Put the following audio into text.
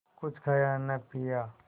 कुछ खाया न पिया